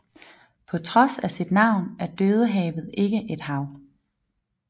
På trods af sit navn er Dødehavet ikke et hav